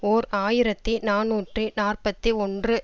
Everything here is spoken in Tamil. ஓர் ஆயிரத்தி நாநூற்றி நாற்பத்தி ஒன்று